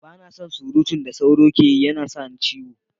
Ba na son surutun da tsoro ke yi, ya na sa ni ciwo.